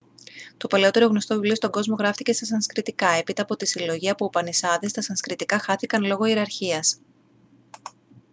το παλαιότερο γνωστό βιβλίο στον κόσμο γράφτηκε στα σανσκριτικά έπειτα από τη συλλογή από ουπανισάδες τα σανσκριτικά χάθηκαν λόγω ιεραρχίας